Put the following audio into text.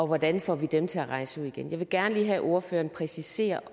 hvordan får vi dem til at rejse ud igen jeg vil gerne lige have at ordføreren præciserer